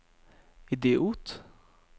idiot